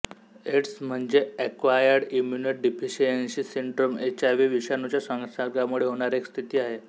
AIDS म्हणजे acquired immunodeficiency syndrome H I V विषाणूच्या संसर्गामुळे होणारी एक स्थिती आहे